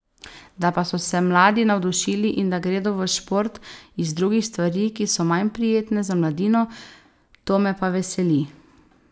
Da pa so se mladi navdušili in da gredo v šport iz drugih stvari, ki so manj prijetne za mladino, to me pa veseli.